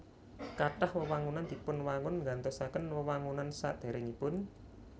Kathah wewangunan dipunwangun nggantosaken wewangunan sadèrèngipun